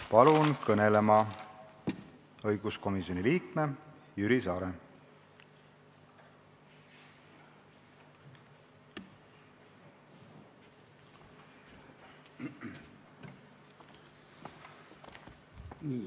Palun kõnelema õiguskomisjoni liikme Jüri Saare!